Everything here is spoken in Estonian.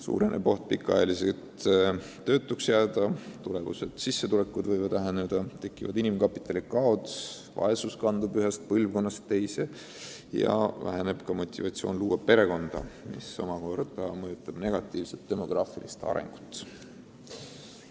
Suureneb oht pikaks ajaks töötuks jääda, tulevased sissetulekud võivad olla väiksemad, kui võiks, tekivad inimkapitali kaod, vaesus kandub peredes ühest põlvkonnast teise ja väheneb ka motivatsioon luua perekonda, mis omakorda mõjutab negatiivselt demograafilist arengut.